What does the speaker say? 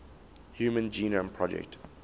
human genome project